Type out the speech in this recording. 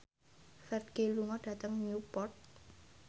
Ferdge lunga dhateng Newport